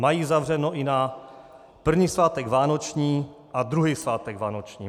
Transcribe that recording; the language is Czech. Mají zavřeno i na první svátek vánoční a druhý svátek vánoční.